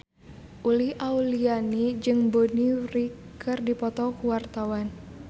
Uli Auliani jeung Bonnie Wright keur dipoto ku wartawan